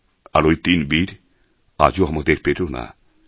আর ওই তিন বীর আজও আমাদের প্রেরণা